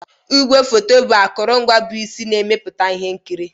Igwefoto bụ akụrụngwa bụ isi na mmepụta ihe nkiri